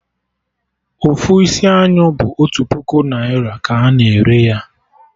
Ofu isi anyụ bụ otu puku naira ka a na-ere ya